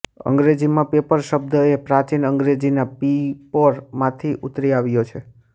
અંગ્રેજીમાં પેપર શબ્દ એ પ્રાચીન અંગ્રેજીના પિપોર માંથી ઉતરી આવ્યો છે